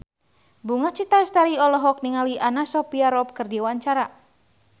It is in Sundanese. Bunga Citra Lestari olohok ningali Anna Sophia Robb keur diwawancara